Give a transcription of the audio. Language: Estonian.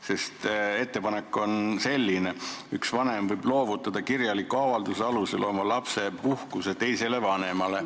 See ettepanek on selline, et üks vanem võib loovutada kirjaliku avalduse alusel oma lapsepuhkuse teisele vanemale.